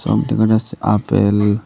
আর দেখা যাচ্ছে আপেল।